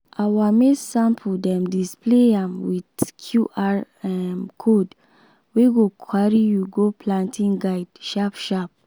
our maize sample dem display am with qr um code wey go carry you go planting guide sharp-sharp.